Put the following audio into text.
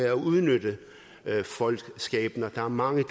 at udnytte folks skæbner der er mange